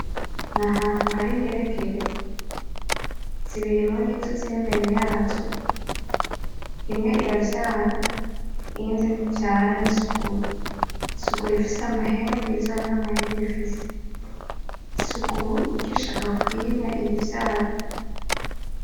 N'ahantu hari ingeregere, zibiri murizo zir'imbere yazo imwe iravyara iyindi ntivyara ni suguru, i suguru ifise amahembe iyivyara nta mahembe ifise, i suguru irikwishaka kwimya iyivyara.